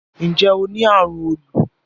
Nje o ni arun olu?